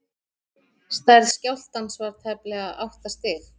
stærð skjálftans var tæplega átta stig